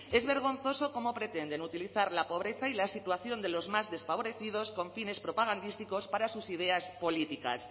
es vergonzoso cómo pretenden utilizar la pobreza y la situación de los más desfavorecidos con fines propagandísticos para sus ideas políticas